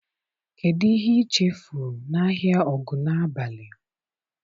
Kedụ ihe i chefuru n'ahịa Ogunabali?